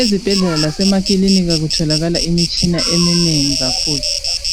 Ezibhedlela lasemakilinika kutholakala imitshina eminengi kakhulu